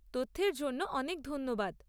তথ্যের জন্য অনেক ধন্যবাদ।